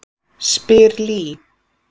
spyr Lee.